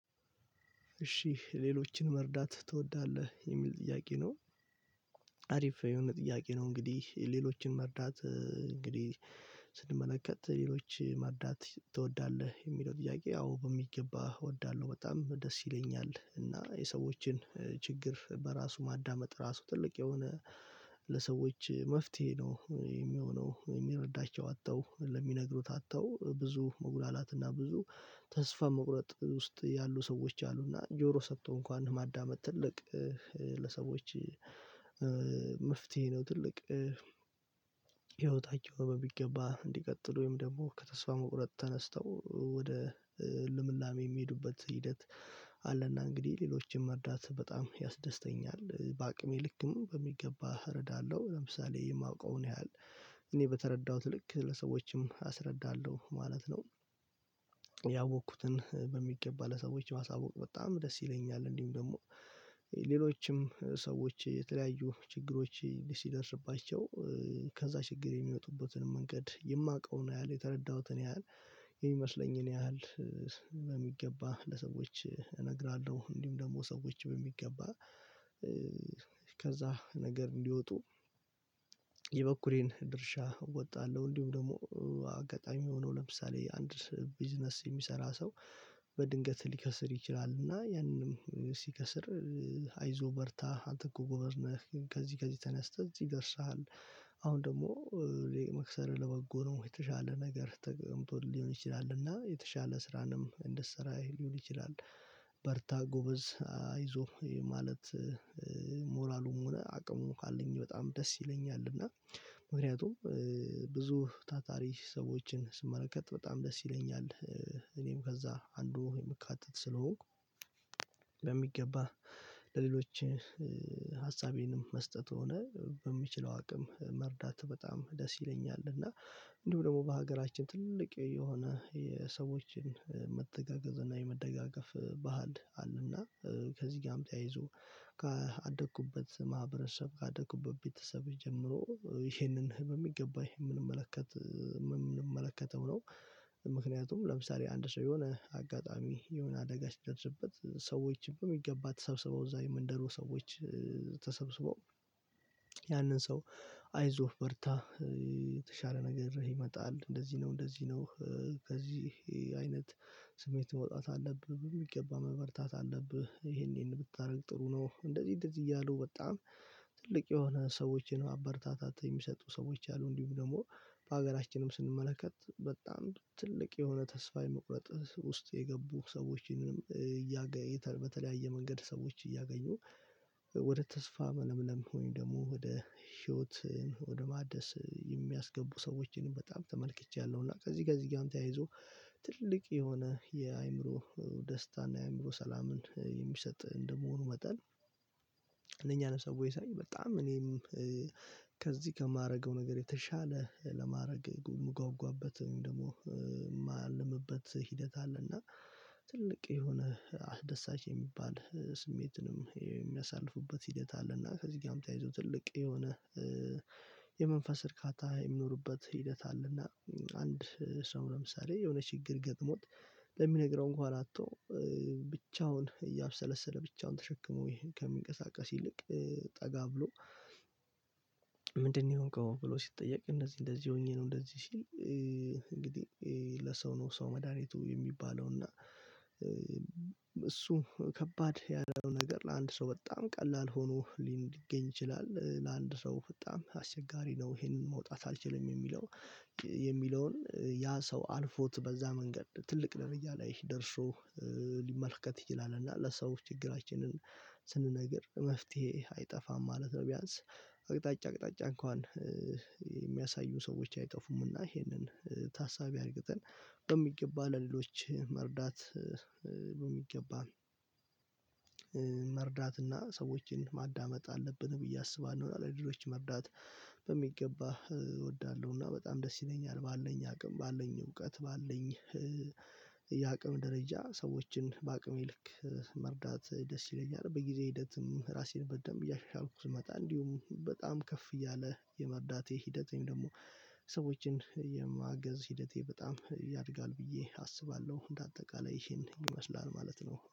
እሺ ሌሎችን መርዳት ትወዳለህ የሚል ጥያቄ ነው። አሪፍ የሆነ ጥያቄ ነው እንግዲህ ሌሎችን መርዳት እንግዲህ ስንመለከት ሌሎች መርዳት ትወዳለህ የሚለው ጥያቄ ያው በሚገባ እወዳለሁ። በጣም ደስ ይለኛል እና የሰዎችን ችግር በራሱ ማዳመጥ ራሱ ትልቅ የሆነ ለሰዎች መፍትሄ ነው የሚሆነው። የሚረዳቸው አጥተው ለሚነግሩት አጥተው ብዙ መጉላላትና ብዙ ተስፋ መቁረጥ ውስጥ ያሉ ሰዎች አሉና ጆሮ ሰጥቶ እንኳን ማዳመጥ ትልቅ ለሰዎች መፍትሄ ነው። ትልቅ ህይወታቸው በሚገባ እንዲቀጥሉ ወይም ደግሞ ከተስፋ መቁረጥ ተነስተው ልምላሜ የሚሄዱበት ሂደት አለና እንግዲህ ሌሎችን መርዳታ በጣም ያስደስተኛል። በአቅሜ ልክም በሚገባ እረዳለሁ ለምሳሌ የማውቀውን ያህል እኔ በተረዳሁት ልክ ለሰዎችም አስረዳለሁ ማለት ነው። ያወኩትን በሚገባ ለሰዎች ማሳወቅ በጣም ደስ ይለኛል። እንዲሁም ደግሞ ሌሎችም ሰዎች የተለያዩ ችግሮች ሲደርስባቸው ከዛ ችግር የሚወጡበትን መንገድ የማውቀውን ያህል የተረዳሁትን ያህል የሚመስለኝን ያህል በሚገባ ለሰዎች እነግራለሁ። እንዲሁም ደግሞ ሰዎች በሚገባ ከዛ ነገር እንዲወጡ የበኩሌን ድርሻ ወጣለሁ። እንዲሁም ደግሞ አጋጣሚ ሆኖ ለምሳሌ አንድ ቢዝነስ የሚሰራ ሰው በድንገት ሊከስር ይችላል እና ያንንም ሲከስር አይዞህ በርታ አንተእኮ ጎበዝ ነህ ከዚህ ከዚህ ተነስተህ እዚህ ደርሰሃል። አሁን ደግሞ መክሰርህ ለበጎ ነው የተሻለ ነገር ተቀምጦልህ ሊሆን ይችላል እና የተሻለ ስራንም እንድትሰራ ሊሆን ይችላል። በርታ ጎበዝ አይዞህ የማለት ሞራሉም ሆነ አቅሙን ካለኝ በጣም ደስ ይለኛል። እና ምክንያቱም ብዙ ታታሪ ሰዎችን ስመለከት በጣም ደስ ይለኛል እኔም ከዛ አንዱ የምካተት ስለሆንኩ። በሚገባ ለሌሎች ሀሳቤንም መስጠት ሆነ በምችለው አቅም መርዳት በጣም ደስ ይለኛል። እና እንዲሁ ደግሞ በሀገራችን ትልቅ የሆነ የሰዎችን መተጋገዝ እና የመደጋገፍ ባህል አለና ከዚህ ጋርም ተያይዞ ካደኩበት ማህበረሰብ አደኩበት ቤተሰብ ጀምሮ ይህንን ህመም በሚገባ ይህንን የምንመለከተው ነው። ምክንያቱም ለምሳሌ አንድ ሰው የሆነ አጋጣሚ የሆነ አደጋ ሲደርስበት ሰዎች በሚገባ ተሰብስበው እዛ የመንደሩ ሰዎች ተሰብስበው ያንን ሰው አይዞህ በርታ የተሻለ ነገር ይመጣል እንደዚህ ነው እንደዚህ ነው። ከዚህ አይነት ስሜት መውጣት አለብህ በሚገባ መበርታት አለብህ ይሄን ይሄን ብታደርግ ጥሩ ነው። እንደዚህ እንደዚህ እያሉ በጣም ትልቅ የሆነ ሰዎችን ማበረታታት የሚሰጡ ሰዎች አሉ። እንዲሁም ደግሞ ሀገራችንም ስንመለከት በጣም ትልቅ የሆነ ተስፋ የመቁረጥ ውስጥ የገቡ ሰዎችንም በተለያየ መንገድ ሰዎች እያገኙ ወደ ተስፋ መለምለም ወይም ደግሞ ወደ ህይወት ወደ ማደስ የሚያስገቡ ሰዎችን በጣም ተመልክቻለሁ። እና ከዚህ ጋር እዚህ ጋርም ተያይዞ ትልቅ የሆነ የአእምሮ ደስታና የአእምሮ ሰላምን የሚሰጥ እንደመሆኑ መጠን። እነኛን ሰወች ሳይ በጣም እኔም ከዚህ ከማደርገው ነገር የተሻለ ለማድረግ የምጓጓበት ወይም ደግሞ እማልምበት ሂደት አለና። ትልቅ የሆነ አስደሳች የሚባል ስሜትንም የሚያሳልፉበት ሂደት አለና ከዚህ ጋርም ተያይዞ ትልቅ የሆነ የመንፈስ እርካታ የሚኖሩበት ሂደት አለና። አንድ ሰው ለምሳሌ የሆነ ችግር ገጥሞት እሚነግረው እንኳን አጥቶ ብቻውን እያብሰለሰለ ብቻውን ተሸክሞ ከሚንቀሳቀስ ይልቅ ጠጋ ብሎ ምንድነው? የሆንከው ብሎ ሲጠየቅ እንደዚህ እንደዚህ ሆኜ ነው እንደዚህ ሲል እንግዲህ ለሰው ነው ሰው መድሃኒቱ የሚባለው። እና እሱ ከባድ ያለው ነገር ለአንድ ሰው በጣም ቀላል ሆኖ ሊገኝ ይችላል ለአንድ ሰው በጣም አስቸጋሪ ነው። ይሄንን መውጣት አልችልም የሚለው የሚለውን ያ ሰው አልፎት በዛ መንገድ ትልቅ ደረጃ ላይ ደርሶ ሊመልከት ይችላል። እና ለሰዎች ችግራችንን ስንነግር መፍትሄ አይጠፋም ማለት ነው። ቢያንስ አቅጣጫ አቅጣጫ እንኳን የሚያሳዩን ሰዎች አይጠፉምና ይሄንን ታሳቢ አድርገን በሚገባ ለሌሎች መርዳት። በሚገባ መርዳትና ሰዎችን ማዳመጥ አለብን ብዬ አስባለሁ። እና ለሌሎች መርዳት በሚገባ እወዳለሁ እና በጣም ደስ ይለኛል። ባለኝ አቅም ባለን እውቀት ባለኝ የአቅም ደረጃ ሰዎችን በአቅሜ ልክ መርዳት ደስ ይለኛል። በጊዜ ሂደትም ራሴን በደንብ እያሻሻልኩ ስመጣ እንዲሁም በጣም ከፍ እያለ የመርዳቴ ሂደት ወይም ደግሞ ሰዎችን የማገዝ ሂደቴ በጣም ያድጋል ብዬ አስባለሁ። እንደ አጠቃላይ ይሄን ይመስላል ማለት ነው